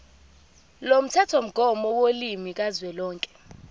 lomthethomgomo wolimi kazwelonke